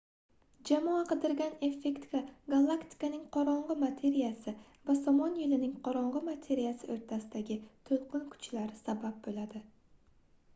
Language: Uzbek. jamoa qidirgan effektga galaktikaning qorongʻi materiyasi va somon yoʻlining qorongʻi materiyasi oʻrtasidagi toʻlqin kuchlari sabab boʻladi